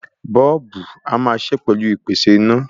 Bọ́ọ́lùbù a máa ṣiṣẹ́ pẹ̀lú ìpèsè iná.